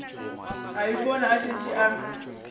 a ipona a šetše a